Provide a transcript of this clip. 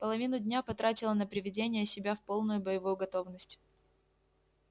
половину дня потратила на приведение себя в полную боевую готовность